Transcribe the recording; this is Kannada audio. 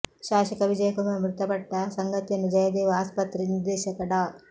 ಶಾಸಕ ವಿಜಯ ಕುಮಾರ್ ಮೃತಪಟ್ಟ ಸಂಗತಿಯನ್ನು ಜಯದೇವ ಆಸ್ಪತ್ರೆ ನಿರ್ದೇಶಕ ಡಾ